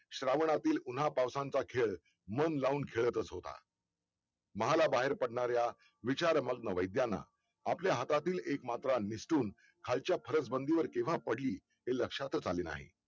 श्रावणातील पुन्हा पावसांचा खेळ मन लावून खेळतच होता महाला बाहेर पडणाऱ्या विचार मंत वैज्ञांना आपल्या हातातील एक मात्र निसटून खालच्या फरसबंदीवर किंवा पडली हे लक्षातच आले नाही